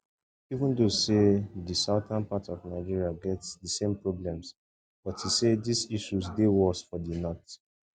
even though say di southern part of nigeria get di same problems but e say dis issues dey worse for di north